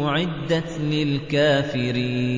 أُعِدَّتْ لِلْكَافِرِينَ